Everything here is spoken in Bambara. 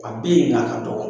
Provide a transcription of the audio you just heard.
A bɛ yen nka a ka dɔgɔ.